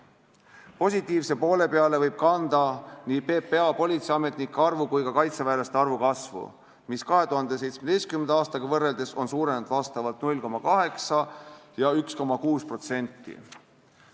Positiivse poole peale võib kanda nii PPA politseiametnike kui ka kaitseväelaste arvu kasvu, mis 2017. aastaga võrreldes on suurenenud vastavalt 0,8 ja 1,6%.